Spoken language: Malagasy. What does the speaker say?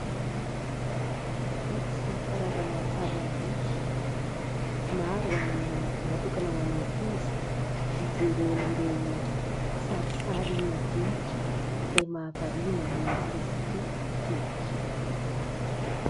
Boky sy karazana tavam-boky maro ho an'ny, natokana ho an'ny ankizy hijereny ireo sarisary madinika izay mahavariana ny ankizy tokoa, ankehitriny.